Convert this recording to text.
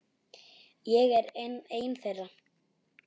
Ég er einn þeirra.